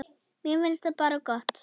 Mér finnst það bara gott.